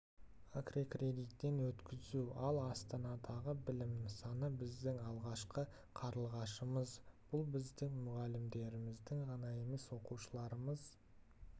аккредиттеуден өткізу ал астанадағы білім нысаны біздің алғашқы қарлығашымыз бұл біздің мұғалімдердің ғана емес оқушыларымыз